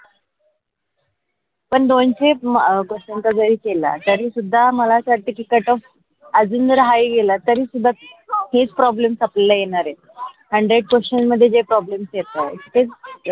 पण दोनशे म question जरी केला. तरीसुद्धा मला असं वाटते की cutoff आजून हाइ गेला तरी सुद्धा हेच problem आपल्याला येणार आहे. hundred question मध्ये जे problem येत आहे तेच.